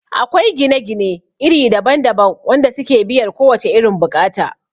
Akwai gine gine iri daban daban wanda suke biyar kowace irin bukata